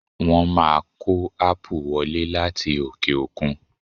Wọ́n má kó ápù wọlé láti òkè òkun.